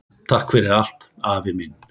Takk fyrir allt, afi minn.